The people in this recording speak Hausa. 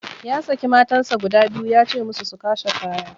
Ya saki matansa guda biyu ya ce musu su kwashe kaya.